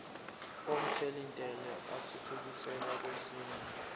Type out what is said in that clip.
omthelintela athuthukiselwa kwesinye